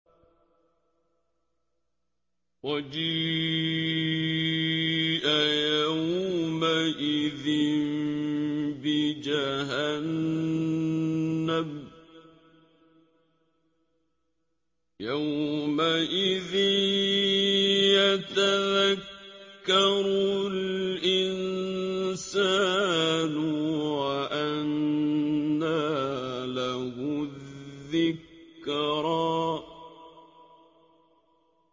وَجِيءَ يَوْمَئِذٍ بِجَهَنَّمَ ۚ يَوْمَئِذٍ يَتَذَكَّرُ الْإِنسَانُ وَأَنَّىٰ لَهُ الذِّكْرَىٰ